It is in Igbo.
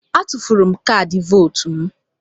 A tufuru m kaadị vootu m.